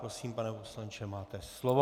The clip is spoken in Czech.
Prosím, pane poslanče, máte slovo.